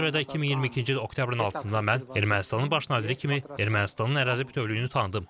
Buna görə də 2022-ci il oktyabrın altısında mən Ermənistanın baş naziri kimi Ermənistanın ərazi bütövlüyünü tanıdım.